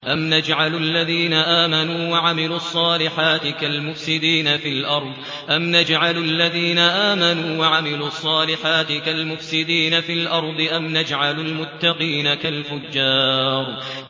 أَمْ نَجْعَلُ الَّذِينَ آمَنُوا وَعَمِلُوا الصَّالِحَاتِ كَالْمُفْسِدِينَ فِي الْأَرْضِ أَمْ نَجْعَلُ الْمُتَّقِينَ كَالْفُجَّارِ